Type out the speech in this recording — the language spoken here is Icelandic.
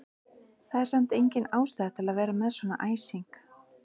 Það er samt engin ástæða til að vera með svona æsing!